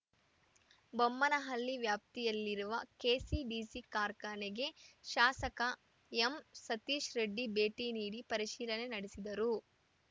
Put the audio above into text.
ಬೊಮ್ಮನಹಳ್ಳಿ ವ್ಯಾಪ್ತಿಯಲ್ಲಿರುವ ಕೆಸಿಡಿಸಿ ಕಾರ್ಖಾನೆಗೆ ಶಾಸಕ ಎಂಸತೀಶ್‌ರೆಡ್ಡಿ ಭೇಟಿ ನೀಡಿ ಪರಿಶೀಲನೆ ನಡೆಸಿದರು